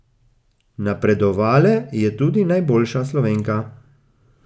Napredovale je tudi najboljša Slovenka.